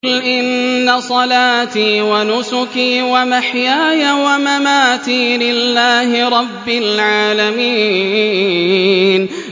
قُلْ إِنَّ صَلَاتِي وَنُسُكِي وَمَحْيَايَ وَمَمَاتِي لِلَّهِ رَبِّ الْعَالَمِينَ